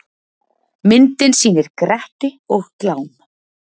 Myndin sýnir Gretti og Glám.